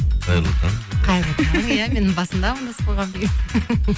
қайырлы таң қайырлы таң иә мен басында амандасып қойғанмын